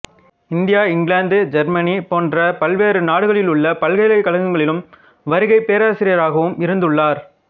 India இங்கிலாந்து Germany போன்ற பல்வேறு நாடுகளிலுள்ள பல்கலைக் கழகங்களிலும் வருகைப் பேராசிரியராகவும் இருந்துள்ளார்